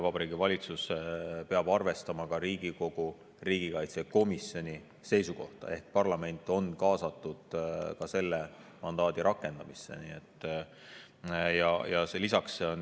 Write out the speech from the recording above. Vabariigi Valitsus peab arvestama ka Riigikogu riigikaitsekomisjoni seisukohta ehk ka parlament on kaasatud selle mandaadi rakendamise.